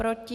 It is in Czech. Proti?